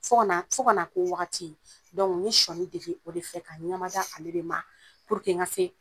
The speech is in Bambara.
Fɔ kana fɔ kana se waati in ye sɔni dege o de fɛ ka n ɲamada ale de ma nka se